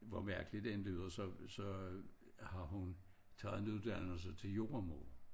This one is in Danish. Hvor mærkeligt det end lyder så har hun taget en uddannelse til jordemoder